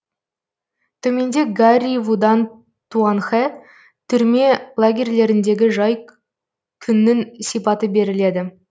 төменде гарри вудан туанхэ түрме лагерьлеріндегі жай күннің сипаты беріледі